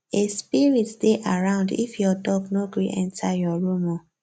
a spirit dey around if your dog no gree enter your room o